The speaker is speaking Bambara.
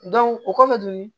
o kɔfɛ tuguni